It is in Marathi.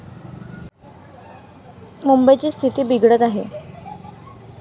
मुंबईची स्थिती बिघडत आहे.